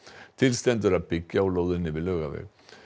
til stendur að byggja á lóðinni við Laugaveg